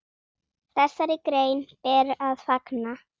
Þessari grein ber að fagna.